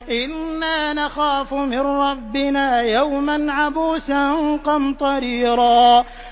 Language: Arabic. إِنَّا نَخَافُ مِن رَّبِّنَا يَوْمًا عَبُوسًا قَمْطَرِيرًا